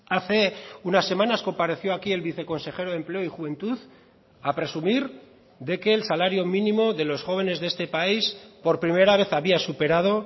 hace unas semanas compareció aquí el viceconsejero de empleo y juventud a presumir de que el salario mínimo de los jóvenes de este país por primera vez había superado